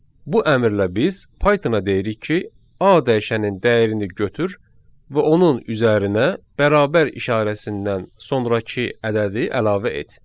Bu əmrlə biz Python-a deyirik ki, A dəyişənin dəyərini götür və onun üzərinə bərabər işarəsindən sonrakı ədədi əlavə et.